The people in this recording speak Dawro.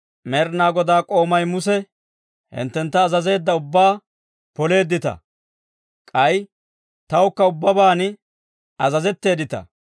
«Med'ina Godaa k'oomay Muse hinttentta azazeedda ubbaa poleeddita; k'ay tawukka ubbaban azazeteeddita.